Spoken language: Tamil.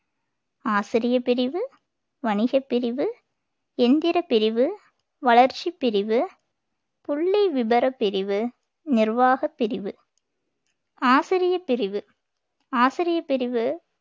ஆசிரியப் பிரிவு வணிகப் பிரிவு எந்திரப் பிரிவு வளர்ச்சிப் பிரிவு புள்ளி விபரப் பிரிவு நிர்வாகப் பிரிவு ஆசிரியப் பிரிவு ஆசிரியப் பிரிவு